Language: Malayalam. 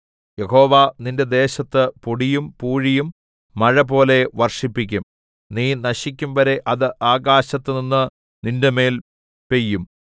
യഹോവ നിന്റെ ദേശത്ത് പൊടിയും പൂഴിയും മഴപോലെ വർഷിപ്പിക്കും നീ നശിക്കുംവരെ അത് ആകാശത്തിൽനിന്ന് നിന്റെമേൽ പെയ്യും